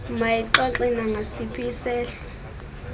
mayixoxe nangasiphi isehlo